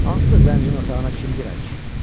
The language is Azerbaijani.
Hansısa zəncirin otağına kim girər ki?